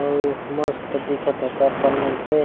आऊ मस्त दिखत हे दर्पण --